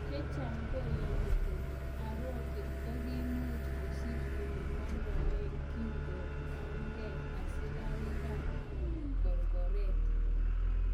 Chechang koyoni kole Aroke kokimuch kosich elemodoen kinko onkan asikarik kap korkoret.